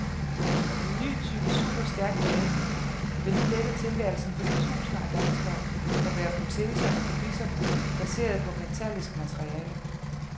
En ny type superstærk belægning vil nu lette tilværelsen for de tusinder af danskere, der bærer proteser og gebisser baseret på metallisk materiale.